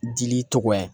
Dili tɔgɔ ye